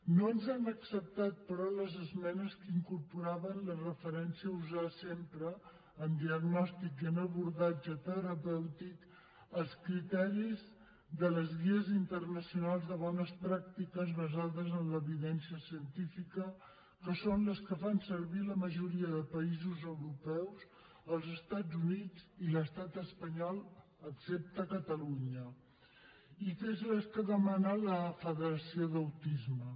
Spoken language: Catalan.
no ens han acceptat però les esmenes que incorporaven la referència a usar sempre en diagnòstic i en abordatge terapèutic els criteris de les guies internacionals de bones pràctiques basades en l’evidència científica que són les que fan servir la majoria de països europeus els estats units i l’estat espanyol excepte catalunya i que són les que demana la federació d’autisme